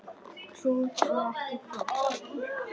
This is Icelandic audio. Krútt og ekki krútt.